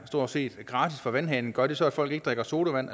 stort set er gratis fra vandhanen men gør det så at folk ikke drikker sodavand